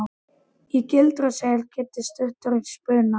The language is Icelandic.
Í gildru segir Kiddi stuttur í spuna.